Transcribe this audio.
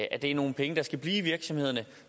at det er nogle penge der skal blive i virksomhederne